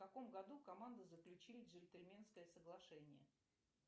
в каком году команды заключили джентльменское соглашение